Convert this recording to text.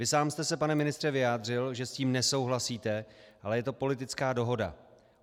Vy sám jste se, pane ministře, vyjádřil, že s tím nesouhlasíte, ale je to politická dohoda.